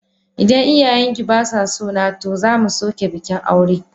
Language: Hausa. Idan iyayen ki ba sa so na, to za mu soke bikin aure.